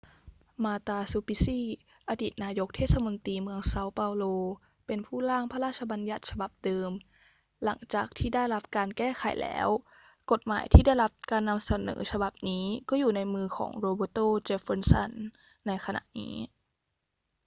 marta suplicy อดีตนายกเทศมนตรีเมืองเซาเปาโล เป็นผู้ร่างพระราชบัญญัติฉบับเดิม หลังจากที่ได้รับการแก้ไขแล้ว กฎหมายที่ได้รับการนำเสนอฉบับนี้ก็อยู่ในมือของ roberto jefferson ในขณะนี้